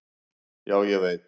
Já, ég veit.